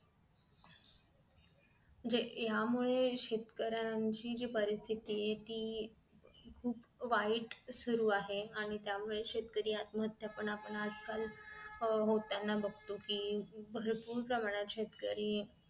जे ह्या मुळे शेतकऱ्यांची जी परिस्थिती ती खूप वाईट सुरु आहे आणि त्यामुळे शेतकरी आत्महत्या आपण आजकाल होताना बघतो कि भरपूर प्रमाणात शेतकरी